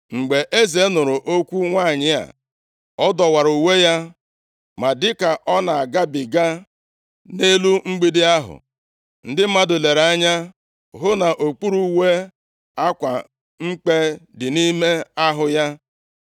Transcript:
Mgbe eze nụrụ okwu nwanyị a, ọ dọwara uwe ya. Ma dịka ọ na-agabiga nʼelu mgbidi ahụ, ndị mmadụ lere anya hụ nʼokpuru uwe, akwa mkpe dị nʼime ahụ ya.